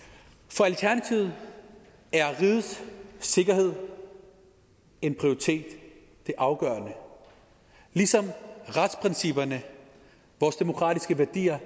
for alternativet er rigets sikkerhed en prioritet og det afgørende ligesom retsprincipperne vores demokratiske værdier